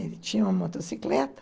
Ele tinha uma motocicleta.